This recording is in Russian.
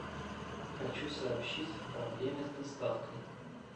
хочу сообщить о проблеме с доставкой